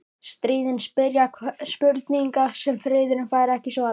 Stríðin spyrja spurninga sem friðurinn fær ekki svarað.